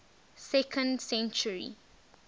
second century